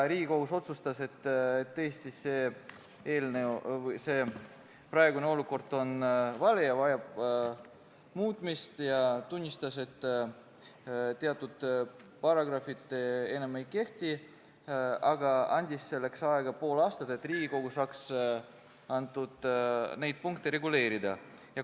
Riigikohus otsustas, et tõesti on praegune olukord vale ja vajab muutmist, ning tunnistas, et teatud paragrahvid enam ei kehti, aga andis aega pool aastat, et Riigikogu saaks neid punkte reguleerida.